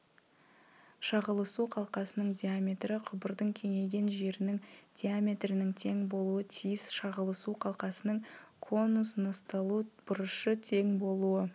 шағылысу қалқасының диаметрі құбырдың кеңейген жерінің диаметрінің тең болуы тиіс шағылысу қалқасының конусносталу бұрышы тең болуы